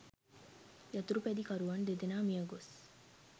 යතුරුපැදිකරුවන් දෙදෙනා මියගොස්